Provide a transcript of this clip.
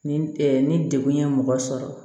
Ni ni degun ye mɔgɔ sɔrɔ